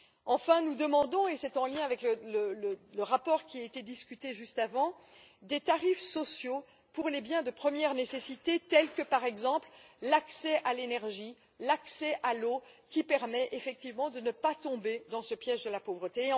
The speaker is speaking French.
Enfin, nous demandons et c'est en lien avec le rapport qui a été discuté juste avant des tarifs sociaux pour les biens de première nécessité, tels que l'accès à l'énergie et à l'eau, qui permet effectivement de ne pas tomber dans ce piège de la pauvreté.